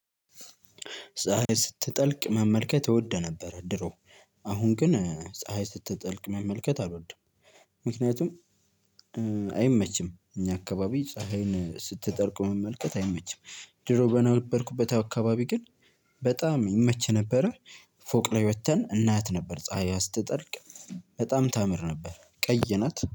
ፀሀይ ስትጠልቅ መመልከት እወድ ነበር ድሮ። አሁን ግን ፀሀይ ስትጠልቅ መመልከት አልወድም። ምክንያቱም አይመችም እኛ አካባቢ ፀሀይን ስትጠልቅ መመልከት አይመችም። ድሮ በነበርኩበት አካባቢ ግን። በጣም ይመች ነበረ። ፎቅ ላይ ወጥተን እናያት ነበር ፀሀይዋ ስትጠልቅ። በጣም ታምር ነበር ቀይ ናት